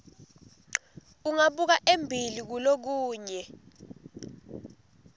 ungabuka embili kulokunye